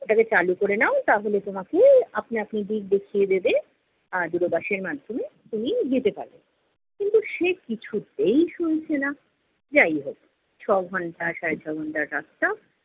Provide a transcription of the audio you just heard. ওটাকে চালু করে নাও তাহলে তোমাকে আপনা আপনি দিক দেখিয়ে দেবে আর, দূর বাশ এর মাধ্যমে তুমি যেতে পারবে। কিন্তু সে কিছুতেই শুনছে না। যাই হোক, ছ'ঘন্টা সাড়ে-ছ'ঘন্টার রাস্তা